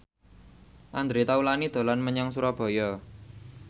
Andre Taulany dolan menyang Surabaya